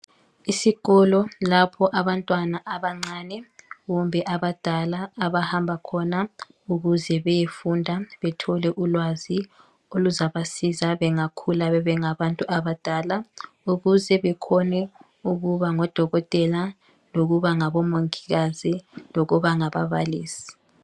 Isikolo lapho abantwana abancane kumbe abadala abahamba khona ukuze beyefunda bethole ulwazi oluzabasiza bengakhula bebengabantu abadala ukuze bekhone ukuba ngodokotela lokuba ngabomongikazi lokuba ngababalisi.